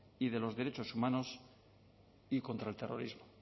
y de los derechos humanos y contra el terrorismo